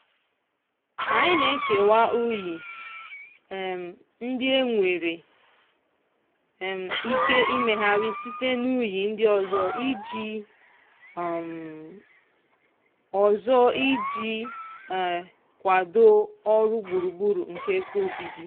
anyị na-ekewa unyi um ndị e nwere um ike imegharị site n'unyi ndị ọzọ iji um ọzọ iji um kwado ọrụ gburugburu nke ebe obibi.